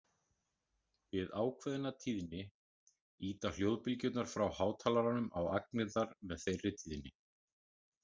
Við ákveðna tíðni ýta hljóðbylgjurnar frá hátalaranum á agnirnar með þeirri tíðni.